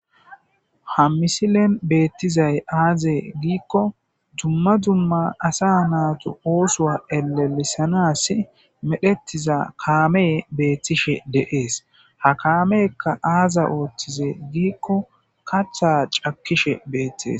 ha misilen beettizay aaze giikko dumma dumma asa naatu oosoa elelisanas medhettiza kaame beettishe deees ha kaamekka aaza ooththize giikko katha cakkishe beettees.